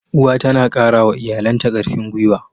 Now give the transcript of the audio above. Uwa tana kara wa iyalanta karfin gwuiwa.